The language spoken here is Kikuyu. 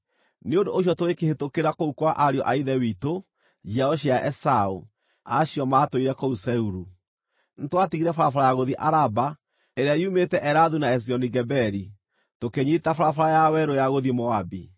Nĩ ũndũ ũcio tũgĩkĩhĩtũkĩra kũu kwa ariũ a ithe witũ, njiaro cia Esaũ, acio maatũire kũu Seiru. Nĩtwatigire barabara ya gũthiĩ Araba ĩrĩa yumĩte Elathu na Ezioni-Geberi, tũkĩnyiita barabara ya werũ ya gũthiĩ Moabi.